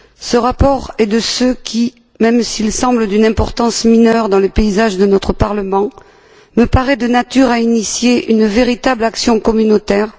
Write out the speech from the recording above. Ce rapport, même s'il semble d'une importance mineure dans le paysage de notre Parlement, me paraît de nature à initier une véritable action communautaire.